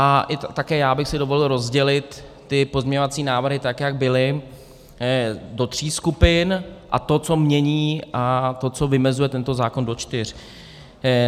A také já bych si dovolil rozdělit ty pozměňovací návrhy, tak jak byly, do tří skupin, a to, co mění, a to, co vymezuje tento zákon, do čtyř.